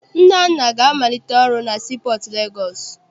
Nnanna ga-amalite ọrụ na sii pọọtụ Legọọsị.